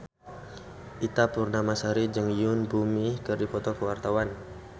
Ita Purnamasari jeung Yoon Bomi keur dipoto ku wartawan